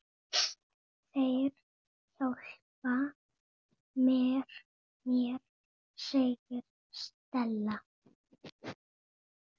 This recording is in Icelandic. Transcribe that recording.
Þeir hjálpa mér, segir Stella.